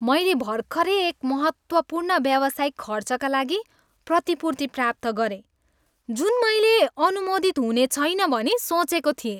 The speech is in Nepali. मैले भर्खरै एक महत्त्वपूर्ण व्यावसायिक खर्चका लागि प्रतिपूर्ति प्राप्त गरेँ जुन मैले अनुमोदित हुनेछैन भनी सोचेको थिएँ।